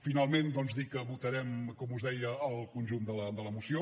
finalment doncs dir que votarem com us deia el conjunt de la moció